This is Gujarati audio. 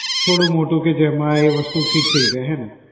થોડું મોટુ કે જેમા ઈ વસ્તુ fit થઈ જાય હેને?